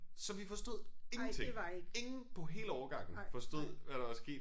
Så vi forstod ingenting ingen på hele årgangen forstod hvad der var sket